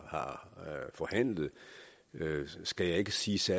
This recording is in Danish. forhandlet skal jeg ikke sige så